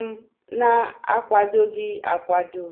m na akwadoghi akwado.